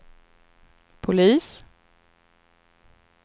polis